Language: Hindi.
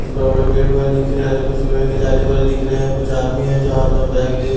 बड़े-बड़े पेड़ पौधे देखे जा रहे है कुछ लोहे के जाली वगैरे दिख रहे हैं कुछ आदमी है जो हाथ में बैग ली --